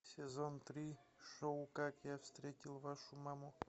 сезон три шоу как я встретил вашу маму